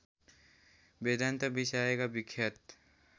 वेदान्त विषयका विख्यात